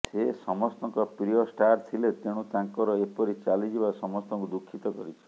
ସେ ସମସ୍ତଙ୍କ ପ୍ରିୟ ଷ୍ଟାର ଥିଲେ ତେଣୁ ତାଙ୍କର ଏପରି ଚାଲିଯିବା ସମସ୍ତଙ୍କୁ ଦୁଃଖିତ କରିଛି